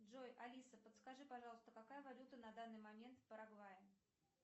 джой алиса подскажи пожалуйста какая валюта на данный момент в парагвае